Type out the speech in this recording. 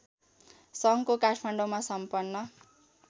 सङ्घको काठमाडौँमा सम्पन्न